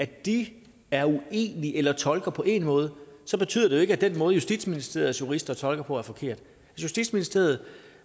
de er uenige eller tolker på én måde betyder det jo ikke at den måde justitsministeriets jurister tolker på er forkert justitsministeriet